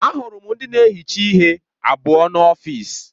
Ahụrụ m ndị na-ehicha ihe abụọ n'ọfịs.